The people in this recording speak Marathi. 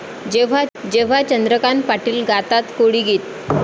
...जेव्हा चंद्रकांत पाटील गातात कोळी गीत!